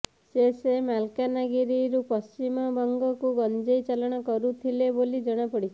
ସେ ସେ ମାଲକାନଗିରିରୁ ପଶ୍ଚିମବଙ୍ଗକୁ ଗଞ୍ଜେଇ ଚାଲାଣ କରୁଥିଲେ ବୋଲି ଜଣାପଡିଛି